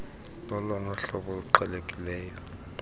lolona hlobo luqhelekileyo